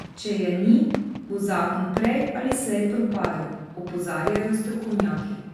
Če je ni, bo zakon prej ali slej propadel, opozarjajo strokovnjaki.